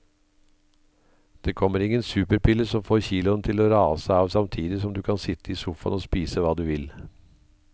Det kommer ingen superpille som får kiloene til å rase av samtidig som du kan sitte i sofaen og spise hva du vil.